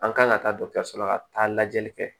An kan ka taa la ka taa lajɛli kɛ